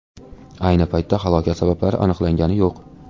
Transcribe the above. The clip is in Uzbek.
Ayni paytda halokat sabablari aniqlangani yo‘q.